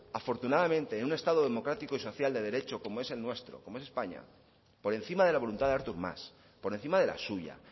afortunadamente en un estado democrático y social de derecho como es el nuestro como españa por encima de la voluntad de artur mas por encima de la suya